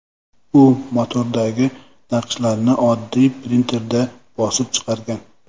U matodagi naqshlarni oddiy printerda bosib chiqargan.